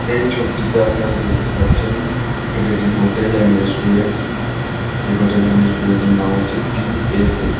এই ছবিটিতে আপনারা দেখতে পাচ্ছেন এটা একটি হোটেল এন্ড রেস্টুরেন্ট এই হোটেল এন্ড রেস্টুরেন্ট এর নাম হচ্ছে টি.এস.এফ ।